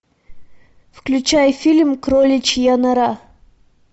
включай фильм кроличья нора